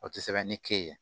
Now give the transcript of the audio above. O tɛ sɛbɛn ni ke ye